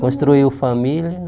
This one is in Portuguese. Construiu família